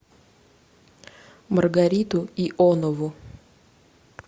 маргариту ионову